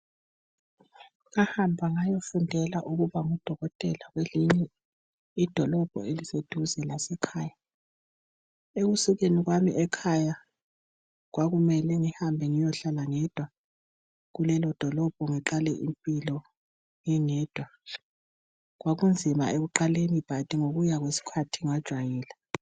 Ngahamba ngayofundela ukuba ngudokotela kwelinye idolobho elise duze lasekhaya ekusukeni kwami ekhaya kwakumele ngihambe ngiyohlala ngedwa kulelo dolobho ngiqale impilo ngingedwa kwakunzima ekuqaleni "but" ngokuya kwesikhathi ngajayela.